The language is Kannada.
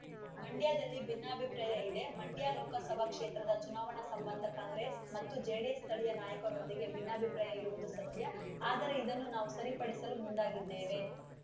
ಮಂಡ್ಯದಲ್ಲಿ ಭಿನ್ನಾಭಿಪ್ರಾಯ ಇದೆ ಮಂಡ್ಯ ಲೋಕಸಭಾ ಕ್ಷೇತ್ರದ ಚುನಾವಣಾ ಸಂಬಂಧ ಕಾಂಗ್ರೆಸ್ ಮತ್ತು ಜೆಡಿಎಸ್ ಸ್ಥಳೀಯ ನಾಯಕರೊಂದಿಗೆ ಭಿನ್ನಾಭಿಪ್ರಾಯ ಇರುವುದು ಸತ್ಯಆದರೆ ಇದನ್ನು ನಾವು ಸರಿಪಡಿಸಲು ಮುಂದಾಗಿದ್ದೇವೆ